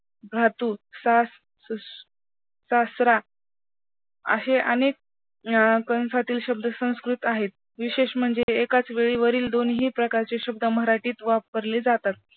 धातू, सासरा, अशे अनेक शब्द संस्कृत आहेत. विशेष म्हणजे वरील दोन्ही प्रकारचे शब्द मराठीत वापरले जातात.